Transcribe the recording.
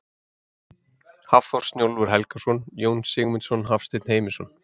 Hafþór Snjólfur Helgason, Jón Sigmundsson, Hafsteinn Heimisson.